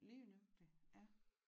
Lige nøjagtigt ja